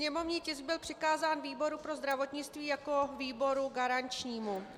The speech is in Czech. Sněmovní tisk byl přikázán výboru pro zdravotnictví jako výboru garančnímu.